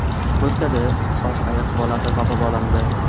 Chukotkada oq ayiq bolasi topib olindi.